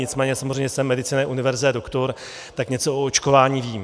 Nicméně samozřejmě jsem medicinae universae doctor, tak něco o očkování vím.